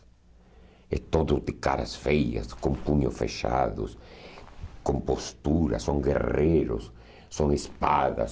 É todo de caras feias, com punhos fechados, com posturas, são guerreiros, são espadas.